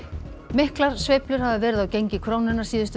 miklar sveiflur hafa verið á gengi krónunnar síðustu